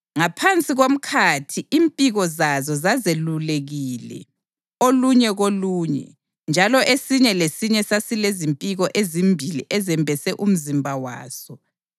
Ngaphansi komkhathi impiko zazo zazelulekile olunye kolunye, njalo esinye lesinye sasilezimpiko ezimbili ezembese umzimba waso.